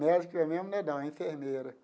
Médica mesmo não é não, é enfermeira.